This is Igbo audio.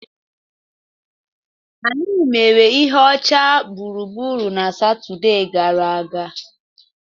Anyị mere ihe ọcha gburugburu na Satọde gara aga.